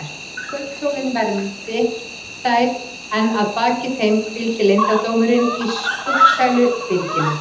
Kvöldsólin vermdi þær en að baki þeim hvíldi leyndardómurinn í skuggsælu byrginu.